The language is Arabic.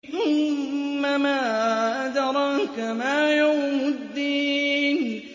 ثُمَّ مَا أَدْرَاكَ مَا يَوْمُ الدِّينِ